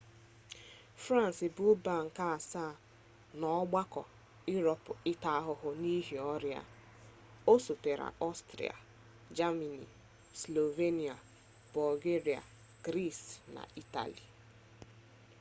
frans bụ mba nke asaa n'ọgbakọ iroopu ịta ahụhụ n'ihi ọrịa a osotere ọstrịa jemani slovenia bọlgeria gris na itali